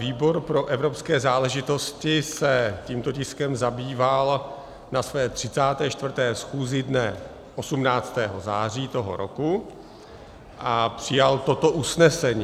Výbor pro evropské záležitosti se tímto tiskem zabýval na své 34. schůzi dne 18. září tohoto roku a přijal toto usnesení: